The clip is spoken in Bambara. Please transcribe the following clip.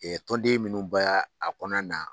tɔnden minnu baya a kɔnɔna na.